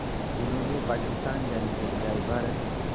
जिन्होंने पाकिस्तान जाने के बजाय भारत